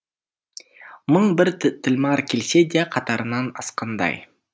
мың бір тілмар келсе де қатарынан асқандай